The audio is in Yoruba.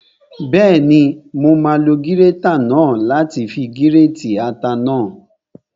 Bẹ́ẹ̀ni, mo máa lo gírétà náà láti fi gírètì ata náà